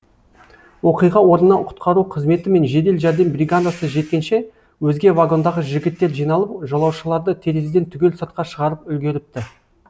оқиға орнына құтқару қызметі мен жедел жәрдем бригадасы жеткенше өзге вагондағы жігіттер жиналып жолаушыларды терезеден түгел сыртқа шығарып үлгеріпті